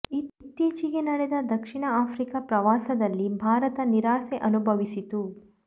ಇತ್ತೀಚೆಗೆ ನಡೆದ ದಕ್ಷಿಣ ಆಫ್ರಿಕಾ ಪ್ರವಾಸದಲ್ಲಿ ಭಾರತ ನಿರಾಸೆ ಅನುಭ ವಿಸಿತ್ತು